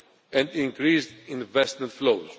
and increased investment flows.